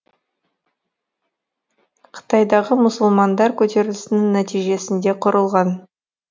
қытайдағы мұсылмандар көтерілісінің нәтижесінде құрылған